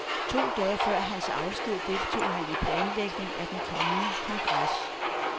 To dage før hans afsked deltog han i planlægningen af den kommende kongres.